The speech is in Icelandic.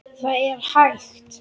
ÞAÐ ER HÆGT